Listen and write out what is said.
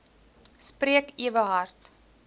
spreek ewe hard